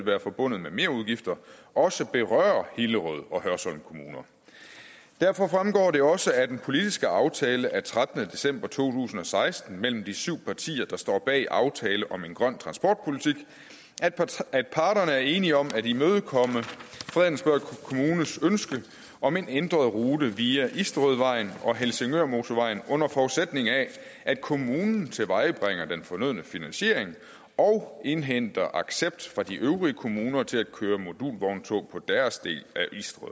være forbundet med merudgifter også berører hillerød og hørsholm kommune derfor fremgår det også af den politiske aftale af trettende december to tusind og seksten mellem de syv partier der står bag aftalen om en grøn transportpolitik at parterne er enige om at imødekomme fredensborg kommunes ønske om en ændret rute via isterødvejen og helsingørmortorvejen under forudsætning af at kommunen tilvejebringer den fornødne finansiering og indhenter accept fra de øvrige kommuner til at køre modulvogntog på deres del af